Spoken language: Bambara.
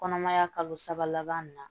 Kɔnɔmaya kalo saba laban min na